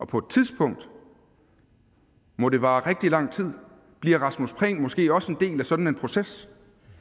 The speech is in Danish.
på et tidspunkt må det vare rigtig lang tid bliver rasmus prehn måske også en del af sådan en proces